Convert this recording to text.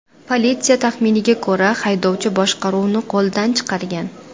Politsiya taxminiga ko‘ra, haydovchi boshqaruvni qo‘ldan chiqargan.